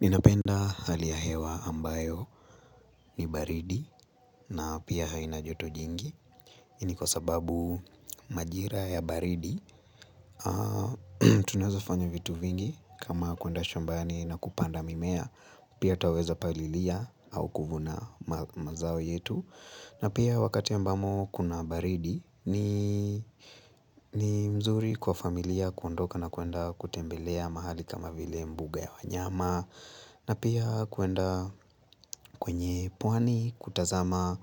Ninapenda hali ya hewa ambayo ni baridi na pia haina joto jingi. Hii ni kwa sababu majira ya baridi. Tunaweza fanya vitu vingi kama kuenda shambani na kupanda mimea. Pia twaweza palilia au kuvuna mazao yetu. Na pia wakati ambamo kuna baridi ni mzuri kwa familia kuondoka na kuenda kutembelea mahali kama vile mbuga ya wanyama. Na pia kuenda kwenye pwani kutazama